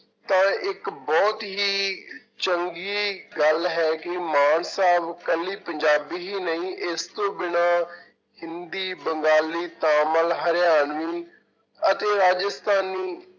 ਤਾਂ ਇੱਕ ਬਹੁਤ ਹੀ ਚੰਗੀ ਗੱਲ ਹੈ ਕਿ ਮਾਨ ਸਾਹਬ ਨੂੰ ਇਕੱਲੀ ਪੰਜਾਬੀ ਹੀ ਨਹੀਂ ਇਸ ਤੋਂ ਬਿਨਾਂ ਹਿੰਦੀ, ਬੰਗਾਲੀ, ਤਾਮਿਲ, ਹਰਿਆਣਵੀ ਅਤੇ ਰਾਜਸਥਾਨੀ